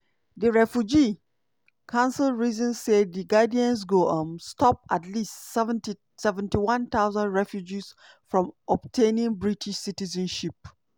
di refugee council reason say di guidance go um stop at least 71000 refugees from obtaining british citizenship.